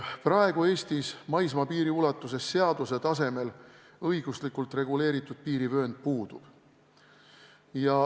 Praegu Eestis maismaapiiri ulatuses seaduse tasemel õiguslikult reguleeritud piirivöönd puudub.